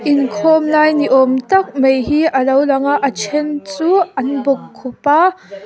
inkhawm lai ni awm tak mai hi a lo lang a a then chu an bawkkhup a.